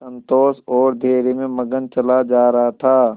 संतोष और धैर्य में मगन चला जा रहा था